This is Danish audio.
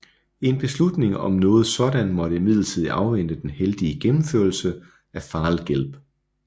En beslutning om noget sådant måtte imidlertid afvente den heldige gennemførelse af Fall Gelb